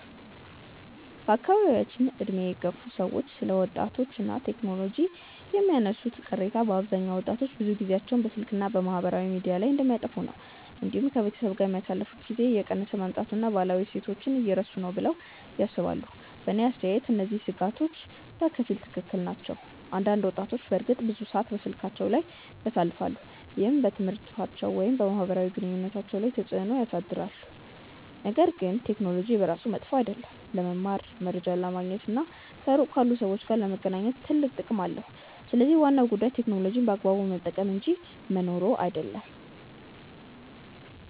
በአካባቢያችን ዕድሜ የገፉ ሰዎች ስለ ወጣቶች እና ቴክኖሎጂ የሚያነሱት ቅሬታ በአብዛኛው ወጣቶች ብዙ ጊዜያቸውን በስልክ እና በማህበራዊ ሚዲያ ላይ እንደሚያጠፉ ነው። እንዲሁም ከቤተሰብ ጋር የሚያሳልፉት ጊዜ እየቀነሰ መምጣቱን እና ባህላዊ እሴቶችን እየረሱ ነው ብለው ያስባሉ። በእኔ አስተያየት እነዚህ ስጋቶች በከፊል ትክክል ናቸው። አንዳንድ ወጣቶች በእርግጥ ብዙ ሰዓት በስልካቸው ላይ ያሳልፋሉ፣ ይህም በትምህርታቸው ወይም በማህበራዊ ግንኙነታቸው ላይ ተጽእኖ ሊያሳድር ይችላል። ነገር ግን ቴክኖሎጂ በራሱ መጥፎ አይደለም። ለመማር፣ መረጃ ለማግኘት እና ከሩቅ ካሉ ሰዎች ጋር ለመገናኘት ትልቅ ጥቅም አለው። ስለዚህ ዋናው ጉዳይ ቴክኖሎጂን በአግባቡ መጠቀም እንጂ መኖሩ አይደለም።